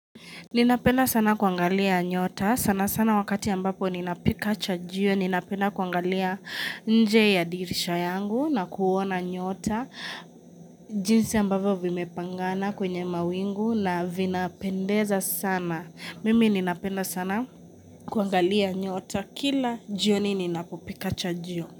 Ninapenda sana kuangalia nyota. Sana sana wakati ambapo ninapikacha jio. Ninapenda kuangalia nje ya dirisha yangu na kuona nyota. Jinsi ambavyo vimepangana kwenye mawingu na vinapendeza sana. Mimi ninapenda sana kuangalia nyota kila jioni ninapopika chajio.